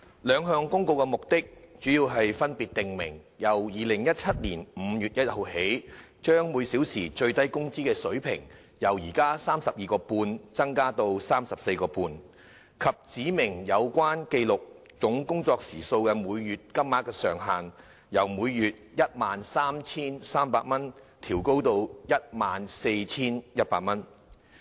兩項公告的目的，主要是分別訂明由2017年5月1日起，將每小時最低工資水平由 32.5 元增至 34.5 元，以及指明有關記錄總工作時數的每月金額上限，由每月 13,300 元調高至 14,100 元。